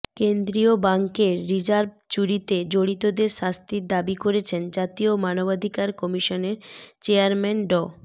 কেন্দ্রীয় বাংকের রিজার্ভ চুরিতে জড়িতদের শাস্তির দাবি করেছেন জাতীয় মানবাধিকার কমিশনের চেয়ারম্যান ড